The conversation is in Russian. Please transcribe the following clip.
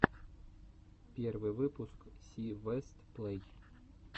первый выпуск си вест плей